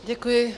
Děkuji.